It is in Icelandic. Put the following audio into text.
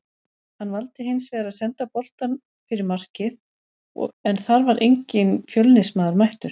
Hann valdi hinsvegar að senda boltann fyrir markið en þar var enginn Fjölnismaður mættur.